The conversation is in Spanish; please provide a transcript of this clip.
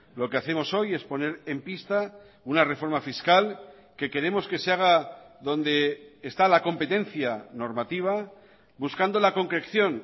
lo que hacemos hoy es poner en pista una reforma fiscal que queremos que se haga donde está la competencia normativa buscando la concreción